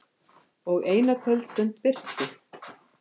Og eina kvöldstund birti.